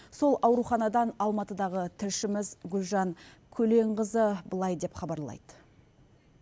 сол ауруханадан алматыдағы тілшіміз гүлжан көленқызы былай деп хабарлайды